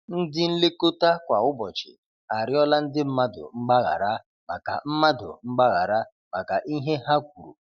Ndị nlekota kwa ụbọchị arịọla ndị mmadụ mgbaghara maka mmadụ mgbaghara maka ihe ha kwuru